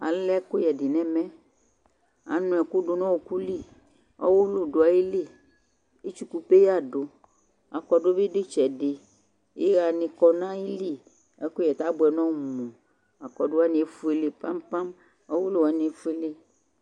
alɛ ɛkʊyɛ dɩ nʊ ɛmɛ, anʊ ɛkʊ dʊ nʊ ɔɔkʊ li, ɔwʊlʊ dʊ ayili, etsuku peya dʊ, aklate bɩ dʊ itsɛdɩ, iɣa nɩ dʊ ayili, ɛkʊyɛ abʊɛ n'ɔmu, aklatewanɩ efuele pampam, ɔwʊlʊwani bɩ efuele